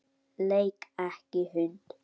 Leik ekki hund.